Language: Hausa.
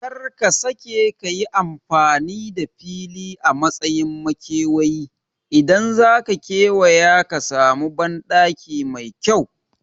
Kar ka sake kayi amfani da fili a matsayin makewayi, idan zaka kewaya ka samu banɗaki mai kyau